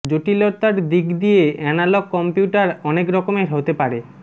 জটিলতার দিক দিয়ে অ্যানালগ কম্পিউটার অনেক রকমের হতে পারে